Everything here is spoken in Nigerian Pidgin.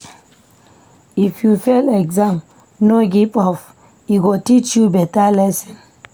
If you fail exam, no give up, e go teach you beta lesson.